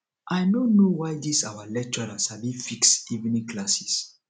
i no know why dis our lecturer sabi fix evening classes